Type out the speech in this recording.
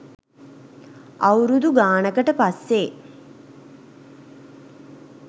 අවුරුදු ගානකට පස්සේ